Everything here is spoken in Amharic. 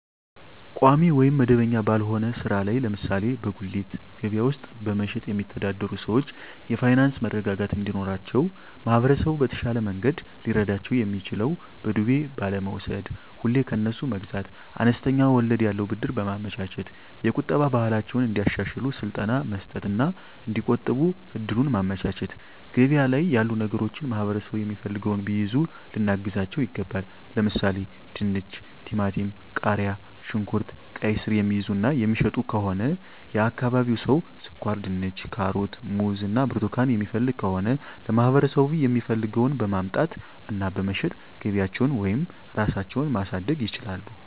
ቋሚ ወይም መደበኛ ባልሆነ ሥራ ላይ ለምሳሌ በጉሊት ገበያ ውስጥ በመሸጥየሚተዳደሩ ሰዎች የፋይናንስ መረጋጋት እንዲኖራቸው ማህበረሰቡ በተሻለ መንገድ ሊረዳቸው የሚችለው በዱቤ ባለመውስድ፤ ሁሌ ከነሱ መግዛት፤ አነስተኛ ወለድ ያለው ብድር በማመቻቸት፤ የቁጠባ ባህላቸውን እንዲያሻሽሉ ስልጠና መስጠት እና እዲቆጥቡ እድሉን ማመቻቸት፤ ገበያ ላይ ያሉ ነገሮችን ማህበረሠቡ የሚፈልገውን ቢይዙ ልናግዛቸው ይገባል። ለምሣሌ፦፤ ድንች፤ ቲማቲም፤ ቃሪያ፣ ሽንኩርት፤ ቃይስር፤ የሚይዙ እና የሚሸጡ ከሆነ የአካባቢው ሠው ስኳርድንች፤ ካሮት፤ ሙዝ እና ብርቱካን የሚፈልግ ከሆነ ለማህበረሰቡ የሚፈልገውን በማምጣት እና በመሸጥ ገቢያቸውን ወይም ራሳቸው ማሣደግ ይችላሉ።